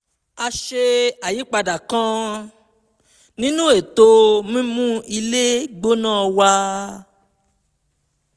a ṣe àyípadà kan nínú ètò mímú ilé gbóná wa